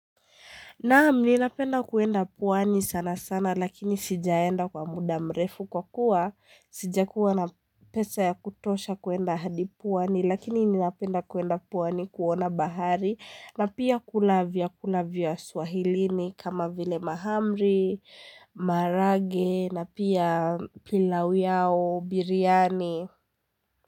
Naam, ninapenda kuenda pwani sana sana lakini sijaenda kwa muda mrefu kwa kuwa, sijakuwa na pesa ya kutosha kwenda hadi pwani, lakini ninapenda kwenda pwani kuona bahari na pia kuna vyakula vya swahilini kama vile mahamri, maharage na pia pilau yao, biriani.